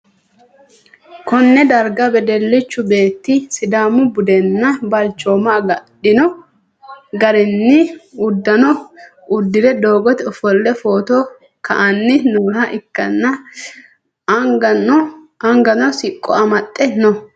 konne darga wedellichu beetti sidaamu budenna balchooma agadhino garinni uddanno uddi're doogote ofolle footo ka'anni nooha ikkanna, angano siqqo amaxxe no.